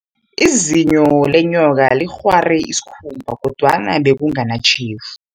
Izinyo lenyoka linghware isikhumba, kodwana bekunganatjhefu.